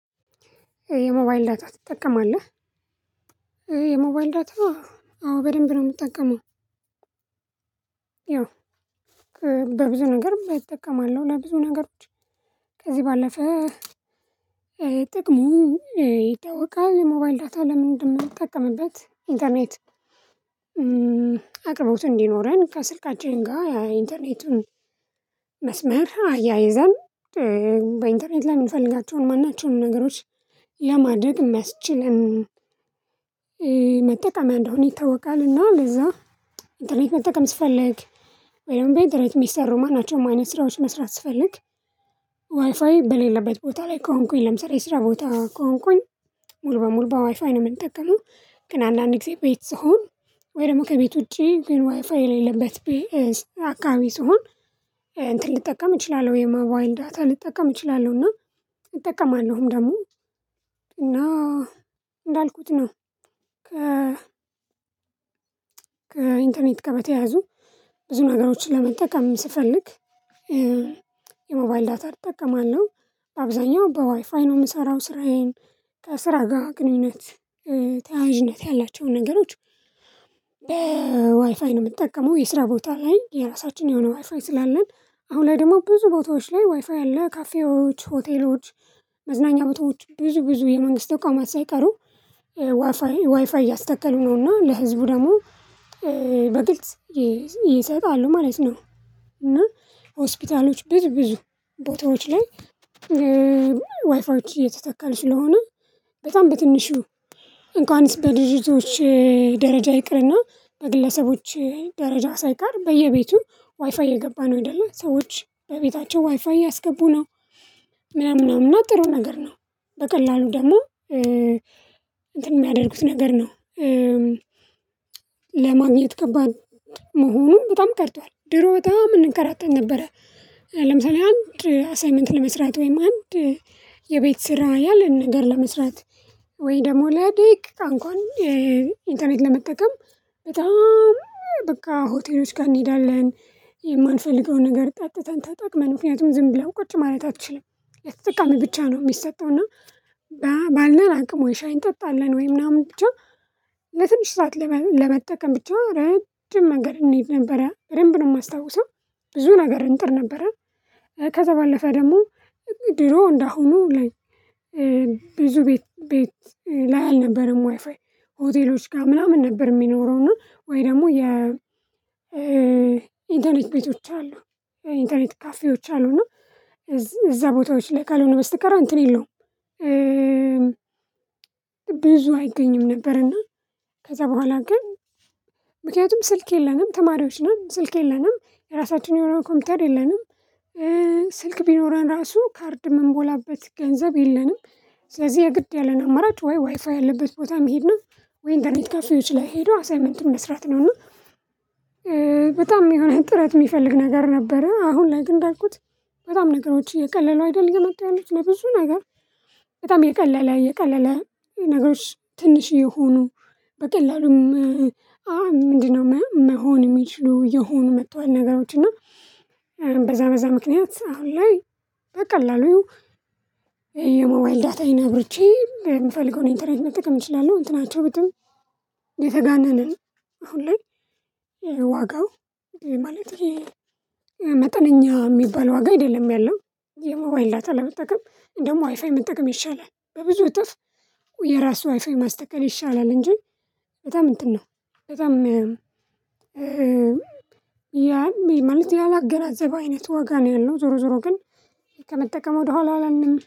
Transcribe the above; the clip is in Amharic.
የሞባይል ዳታ ትጠቀማለህ? የሞባይል ዳታ አዎ በደንብ ነው የምጠቀመው። ያው በብዙ ነገር እጠቀማለሁ ለብዙ ነገሮች ከዚህ ባለፈ ጥቅሙ ይታወቃል። የሞባይል ዳታ ለምን እንደምንጠቅምበት ኢንተርኔት። አቅርቦት እንዲኖረን ከስልካችን ጋር የኢንተርኔቱን መስመር አያይዘን በኢንተርኔት ላይ የምንፈልጋቸውን ማናቸውንም ነገሮች ለማድረግ የሚያስችልን መጠቀም እንደሆነ ይታወቃል። እና ለዛ ኢንተርኔት መጠቀም ስፈልግ ወይም ቤኢንተርኔት ሚሰሩ ማናቸው አይነት ስራዎች መስራት ስፈልግ ዋይፋይ በሌለበት ቦታ ላይ ከሆንኩኝ ለምሳሌ ስራ ቦታ ከሆንኩኝ ሙሉ በሙሉ በዋይፋይ ነው የምንጠቀመው። ግን አንዳንድ ጊዜ ቤት ስሆን ወይ ደግሞ ከቤት ውጪ ግን ዋይፋይ የሌለበት አካባቢ ስሆን እንትን ልጠቀም እችላለሁ የሞባይል ዳታ ልጠቀም እችላለሁና እጠቀማለሁም ደግሞ። እና እንዳልኩት ነው ከ ከኢንተርኔት ጋር በተያያዙ ብዙ ነገሮችን ለመጠቀም ስፈልግ የሞባይል ዳታን እጠቀማለሁ። አብዛኛው በዋይፋይ ነው የምሰራው ስራዬን ከስራ ጋር ግንኙነት ተያያዥነት ያላቸውን ነገሮች በዋይፋይ ነው የምትጠቀመው። የስራ ቦታ ላይ የራሳችን የሆነ ዋይፋይ ስላለን አሁን ላይ ደግሞ ብዙ ቦታዎች ላይ ዋይፋይ ያለ ካፌዎች ሆቴሎች መዝናኛ ቦታዎች ብዙ ብዙ የመንግስት ተቋማት ሳይቀሩ ዋይፋይ ዋይፋይ እያስተከሉ ነው እና ለህዝቡ ደግሞ በግልጽ ይሰጣሉ ማለት ነው። እና ሆስፒታሎች ብዙ ብዙ ቦታዎች ላይ ዋይፋዎች እየተተከሉ ስለሆነ በጣም በትንሹ እንኳንስ በድርጅቶች ደረጃ ይቅርና በግለሰቦች ደረጃ ሳይቀር በየቤቱ ዋይፋይ እየገባ ነው ኡይደለ ሰዎች በቤታቸው ዋይፋይ አያስገቡ ነው። ምናምን ነውና ጥሩ ነገር ነው በቀላሉ ደግሞ እንትን የሚያደርጉት ነገር ነው። ለማግኘት ከባድ መሆኑን በጣም ቀርቷል ድሮ በጣም እንከራተት ነበር። ለምሳሌ አንድ አሳይመንት ለመስራት ወይም አንድ የቤት ስራ ያለን ነገር ለመስራት ወይ ደግሞ ላደቂቃ አንኳን ኢንተርኔት ለመጠቀም በጣም በቃ ሆቴሎች ጋር እንሄዳለን። የማንፈልገውን ነገር ጠጥተን ተጠቅመን ምክንያቱም ዝም ብለው ቁጭ ማለት አትችልም የተጠቃሚ ብቻ ነው የሚሰጠው እና ባለን አቅም ወይ ሻዬ እንጠጣለን ወይ ምናምን ብቻ ለትንሽ ሰዓት ለመጠቀም ብቻ ለረጅም መንገድ እንሂድ ነበረ በደንብ ነው የማስታውሰው። ብዙ ነገር እንጥር ነበረ። ከዛ ባለፈ ደግሞ ድሮ እንደአሁኑ ብዙ ቤት ላይ አልነበረም ዋይፋይ ሆቴሎች ጋር ምናምን ነበር የሚኖረው እና ወይ ደግሞ የ ኢንተርኔት ቤቶች አሉ የኢንተርኔት ኢንተርኔት ካፌዎች አሉና እዛ ቦታዎች ላይ ካልሆነ በስተቀር እንትን የለውም። ብዙ አይገኝም ነበር። እና ከዛ በኋላ ግን ምክንያቱም ስልክ የለንም ተማሪዎች ነን ስልክ የለንም የራሳችን የሆነ ኮምፒውተር የለንም። ስልክ ቢኖረን ራሱ ካርድ የምንሞላበት ገንዘብ የለንም። ስለዚህ የግድ ያለን አማራጭ ወይ ዋይፋይ ያለበት ቦታ መሄድ ነው ወይ ኢንተርኔት ካፌዎች ላይ ሄዶ አሳይመንቱን መስራት ነውና። በጣም የሆነ ጥረት የሚፈልግ ነገር ነበረ አሁን ላይ ግን እንዳልኩት በጣም ነገሮች እየቀለሉ አይደል እየመጡ ያሉት ለብዙ ነገር። በጣም እየቀለለ የቀላለ ነገሮች ትንሽ እየሆኑ በቀላሉም ምንድነው መሆን የሚችሉ እየሆኑ መጥቷል። ነገሮች እና በዛ በዛ ምክንያት አሁን ላይ በቀላሉ የሞባይል ዳታይን አብርቼ የምፈልገውን ኢንተርኔት መጠቀም እችላለሁ። እንትናቸው ብትል የተጋነነ አሁን ላይ ዋጋው ማለት ይሄ መጠነኛ የሚባል ዋጋ አይደለም ያለው። የሞባይል ዳታ ለመጠቀም ደግሞ ዋይፋይ መጠቀም ይሻላል በብዙ እጥፍ የራሱ ዋይፋው ማስተከል ይሻላል እንጂ በጣም እንትን ነው። በጣም ያ ማለት ያላገናዘበ አይነት ዋጋ ነው ያለው ዞሮ ዞሮ ግን ከመጠቀም ወደኋላ አላልንም